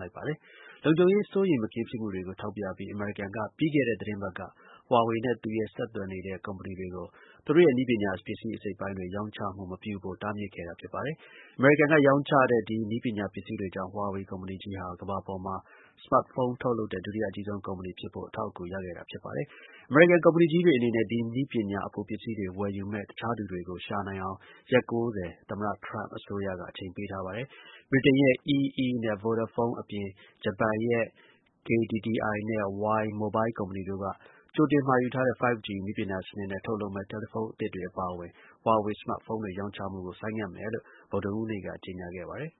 လိုက်ပါတယ်။ လုံခြုံရေး စိုးရိမ်မကင်းဖြစ်မှုတွေကို ထောက်ပြပြီး အမေရိကန်က ပြီးခဲ့တဲ့သီတင်းပတ်က Huawei နဲ့ သူနဲ့ ဆက် သွယ်နေတဲ့ ကုမ္ပဏီတွေကို သူတို့ရဲ့ နည်းပညာပစ္စည်း အစိတ်အပိုင်းတွေ ရောင်းချမှု မပြုဖို့ တားမြစ်ခဲ့တာ ဖြစ်ပါတယ်။ အမေရိကန်က ရောင်းချတဲ့ ဒီနည်းပညာပစ္စည်းတွေကြောင့် Huawei ကုမ္ပဏီကြီးဟာ ကမ္ဘာပေါ်မှာ စမတ်ဖုံး ထုတ်လုပ်တဲ့ ဒုတိယအကြီးဆုံး ကုမ္ပဏီ ဖြစ်ဖို့ အထောက်အကူ ရခဲ့တာဖြစ်ပါတယ်။ အမေရိကန်ကုမ္ပဏီကြီးတွေ အနေနဲ့ ဒီနည်းပညာ အပိုပစ္စည်းတွေ ဝယ်ယူမယ့် တခြားသူတွေကို ရှာနိုင်အောင် ရက် (၉၀) သမ္မတ ထရမ့်အစိုးရက အချိန်ပေးထားပါတယ်။ ဗြိတိန်ရဲ့ EE နှင့် VODAPHONE အပြင် ဂျပန်ရဲ့ KDDI နဲ့ Y Mobile ကုမ္ပဏီတို့က ကြိုတင်မှာယူထားတဲ့ 5 G နည်းပညာသစ်နဲ့ ထုတ်လုပ်မယ့် တယ်လီဖုံးသစ်တွေ အပါအဝင် Huawei စမတ်ဖုံးတွေ ရောင်းချမှုကို ဆိုင်းငံ့မယ်လို့ ဗုဒ္ဓဟူးနေ့က ကြေညာခဲ့ပါတယ်